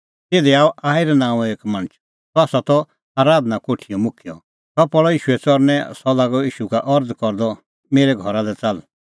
तिधी आअ याईर नांओं एक मणछ सह त आराधना कोठीओ मुखिय सह पल़अ ईशूए च़रणैं सह लागअ ईशू का अरज़ करदअ मेरै घरा लै च़ाल्ल